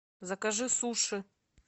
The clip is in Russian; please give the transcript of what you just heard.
закажи суши